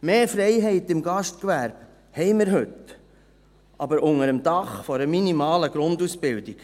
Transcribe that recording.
Mehr Freiheit im Gastgewerbe haben wir heute, aber unter dem Dach einer minimalen Grundausbildung.